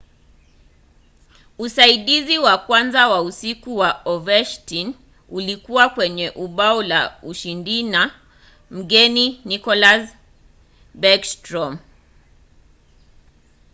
usaidizi wa kwanza wa usiku wa ovechkin ulikuwa kwenye bao la ushindina mgeni nicklas backstrom;